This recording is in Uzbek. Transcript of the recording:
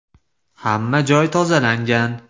Hamma joy tozalangan.